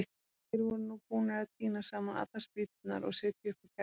Þeir voru nú búnir að tína saman allar spýturnar og setja upp á kerruna.